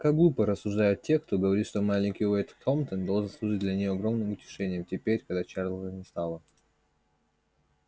как глупо рассуждают те кто говорит что маленький уэйд хэмптон должен служить для неё огромным утешением теперь когда чарлза не стало